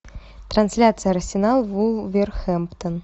трансляция арсенал вулверхэмптон